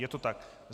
Je to tak.